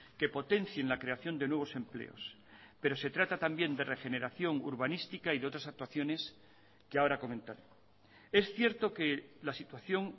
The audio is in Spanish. que potencien la creación de nuevos empleos pero se trata también de regeneración urbanística y de otras actuaciones que ahora comentaré es cierto que la situación